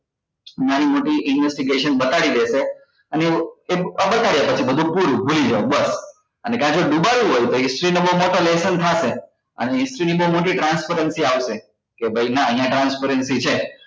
નાની મોટી investigation બતાડી દેશે અને એવું અ બતાડે કે બધું પૂરું ભૂલી જાઓ બસ અને કાતો જો દુબાડવું હોય તો history નો બઉ મોટો lesson થશે અને history બઉ મોટી transparency આવશે કે ભાઈ નાં અહિયાં transparency છે